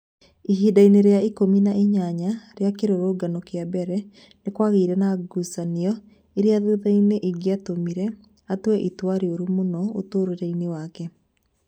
Ihinda-inĩ rĩa ikũmi na inyanya rĩa kĩrũrũngano kĩa mbere, nĩ kwagĩire na ngucanio ĩrĩa thutha-inĩ ĩngĩatũmire atue itua rĩũru mũno ũtũũro-inĩ wake.